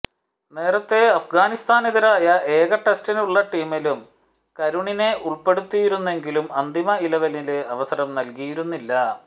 നേരത്തെ അഫ്ഗാനിസ്താനെതിരായ ഏക ടെസ്റ്റിനുള്ള ടീമിലും കരുണിനെ ഉള്പ്പെടുത്തിയിരുന്നെങ്കിലും അന്തിമ ഇലവനില് അവസരം നല്കിയിരുന്നില്ല